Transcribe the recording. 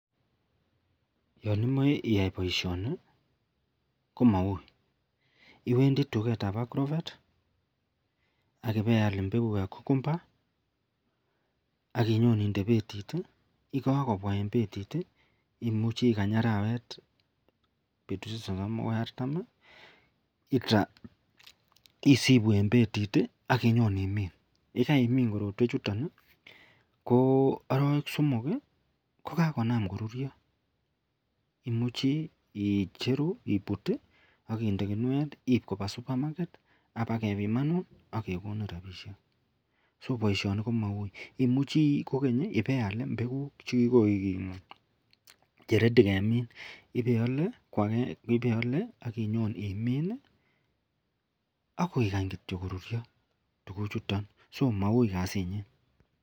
Yanimae iyai baishoni komaui iwendii tuget ab agrovet akiweiyal imbekuk ab cocumber akinyon inde betit ak yikakobwa en betit imuche ikany arwet ak betushek sosom akoi artam isibu en betit akinyon imin ayikaiminbkorotwek chuton koarawek somok kokakinam korurio imuche icheru anan ibut akinde kinuet akinde Koba supermarket akeba kebimanun agekonin rabishek (so) baishoni komau imuche iwe iyal imbeguk chekikoik Che ready kemin iwe iyale akinyon imin akikany korurio tuguk chuton akomaui kasit niton.